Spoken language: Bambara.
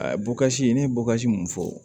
A bɔkasi ne ye bɔkasi mun fɔ